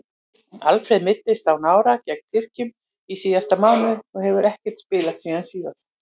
Alfreð meiddist á nára gegn Tyrkjum í síðasta mánuði og hefur ekkert spilað síðan þá.